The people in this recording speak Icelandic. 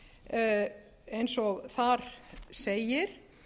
til eins og þar segir